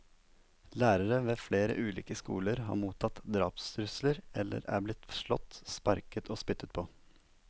Lærere ved flere ulike skoler har mottatt drapstrusler eller er blitt slått, sparket og spyttet på.